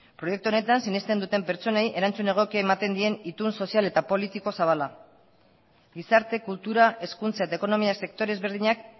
proiektu honetan sinesten duten pertsonei erantzun egokia ematen dien itun sozial eta politiko zabala gizarte kultura hezkuntza eta ekonomia sektore ezberdinak